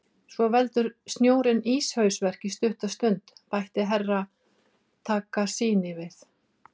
Svo veldur snjórinn íshausverk í stutta stund, bætti Herra Takashi við.